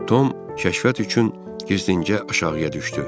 Tom kəşfiyyat üçün gizlincə aşağıya düşdü.